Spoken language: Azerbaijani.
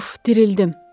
Uf, dirildim.